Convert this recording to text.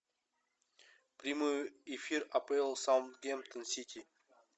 прямой эфир апл саутгемптон сити